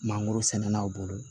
Mangorosɛnnaw bolo